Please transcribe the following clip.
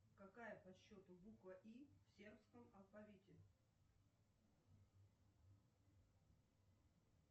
какая по счету буква и в сербском алфавите